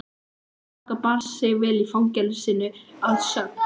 Faðir okkar bar sig vel í fangelsinu að sögn.